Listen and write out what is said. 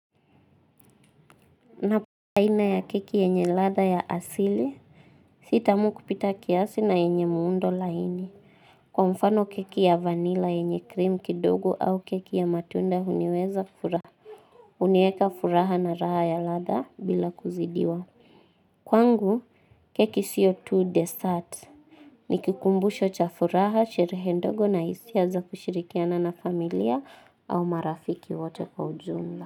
Napenda aina ya keki yenye ladha ya asili. Si tamu kupita kiasi na yenye muundo laini. Kwa mfano keki ya vanilla yenye cream kidogo au keki ya matunda huniweza furaha. Huniweka furaha na raha ya ladha bila kuzidiwa. Kwangu keki sio tu dessert. Nikikumbusho cha furaha sherehe ndogo na hisia za kushirikiana na familia au marafiki wote kwa ujumla.